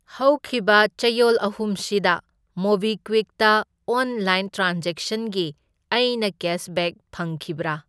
ꯍꯧꯈꯤꯕ ꯆꯌꯣꯜ ꯑꯍꯨꯝꯁꯤꯗ ꯃꯣꯕꯤꯀ꯭ꯋꯤꯛꯇ ꯑꯣꯟꯂꯥꯏꯟ ꯇ꯭ꯔꯥꯟꯖꯦꯛꯁꯟꯒꯤ ꯑꯩꯅ ꯀꯦꯁꯕꯦꯛ ꯐꯪꯈꯤꯕꯔꯥ?